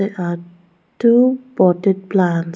they are two potted plants